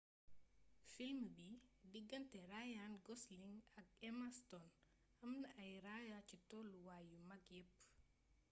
film bi digganté ryan gosling ak emma stone amna ay raaya ci tollu waay yu mag yepp